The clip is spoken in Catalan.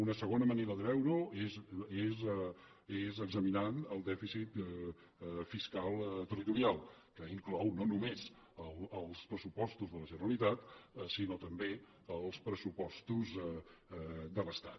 una segona manera de veure ho és examinant el dèficit fiscal territorial que inclou no només els pressupostos de la generalitat sinó també els pressupostos de l’estat